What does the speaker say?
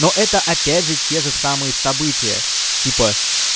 но это опять же те же самые события типа